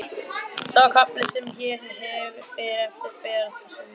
Sá kafli sem hér fer á eftir ber þessu vitni: